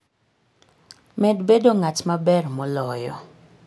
Med bedo ng'at maber moloyo